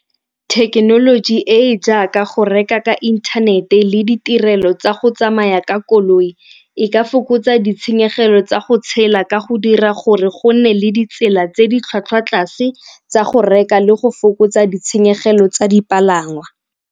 Thekenoloji e e jaaka go reka ka inthanete le ditirelo tsa go tsamaya ka koloi e ka fokotsa ditshenyegelo tsa go tshela ka go dira gore go nne le ditsela tse di tlhwatlhwa tlase tsa go reka le go fokotsa ditshenyegelo tsa dipalangwa.